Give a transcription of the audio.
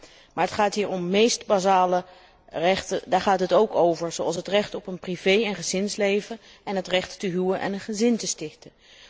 Ja, maar het gaat hier om meest basale rechten, daar gaat het ook over, zoals het recht op een privé en gezinsleven en het recht te huwen en een gezin te stichten.